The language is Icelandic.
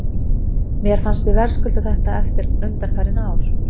Mér fannst við verðskulda þetta eftir undanfarin ár.